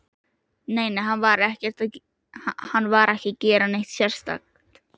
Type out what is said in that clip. Nei, nei, hann var ekki að gera neitt sérstakt.